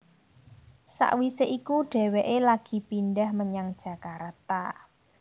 Sawisé iku dhéwéké lagi pindhah menyang Jakarta